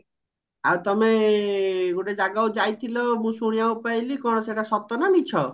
ଆଉ ତମେ ଗୋଟେ ଜାଗାକୁ ଯାଇଥିଲା ମୁ ଶୁଣିବାକୁ ପାଇଲି କଣ ସେଟ ସତ ନ ମିଛ